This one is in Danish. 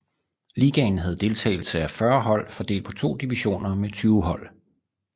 Ligaen havde deltagelse af 40 hold fordelt på to divisioner med 20 hold